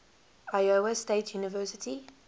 iowa state university